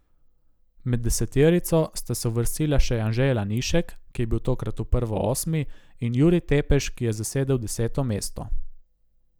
Med deseterico sta se uvrstila še Anže Lanišek, ki je bil tokrat v prvo osmi, in Jurij Tepeš, ki je zasedel deseto mesto.